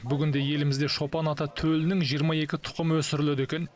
бүгінде елімізде шопан ата төлінің жиырма екі тұқымы өсіріледі екен